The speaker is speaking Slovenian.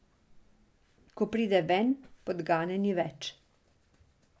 Ko pride ven, podgane ni več.